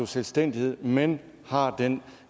selvstændighed men har den